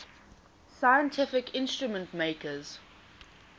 scientific instrument makers